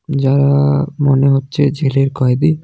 যারা মনে হচ্ছে জেলের কয়দি.